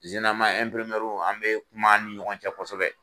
an bɛ kuma an ni ɲɔgɔn cɛ kosɛbɛ.